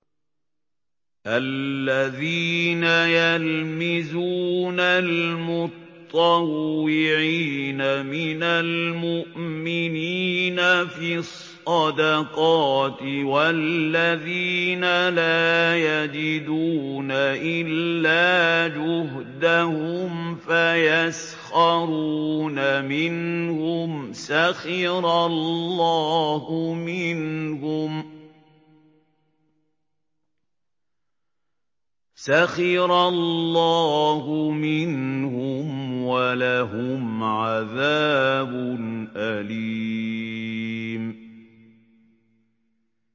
الَّذِينَ يَلْمِزُونَ الْمُطَّوِّعِينَ مِنَ الْمُؤْمِنِينَ فِي الصَّدَقَاتِ وَالَّذِينَ لَا يَجِدُونَ إِلَّا جُهْدَهُمْ فَيَسْخَرُونَ مِنْهُمْ ۙ سَخِرَ اللَّهُ مِنْهُمْ وَلَهُمْ عَذَابٌ أَلِيمٌ